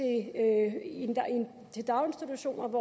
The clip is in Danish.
i daginstitutionerne